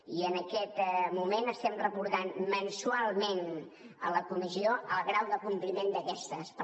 i en aquest moment estem reportant mensualment a la comissió el grau de compliment d’aquestes mesures